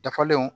Dafalenw